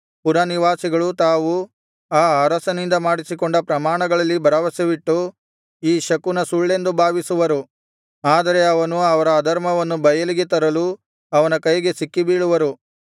ಪುರನಿವಾಸಿಗಳು ತಾವು ಆ ಅರಸನಿಂದ ಮಾಡಿಸಿಕೊಂಡ ಪ್ರಮಾಣಗಳಲ್ಲಿ ಭರವಸವಿಟ್ಟು ಈ ಶಕುನವು ಸುಳ್ಳೆಂದು ಭಾವಿಸುವರು ಆದರೆ ಅವನು ಅವರ ಅಧರ್ಮವನ್ನು ಬಯಲಿಗೆ ತರಲು ಅವನ ಕೈಗೆ ಸಿಕ್ಕಿಬೀಳುವರು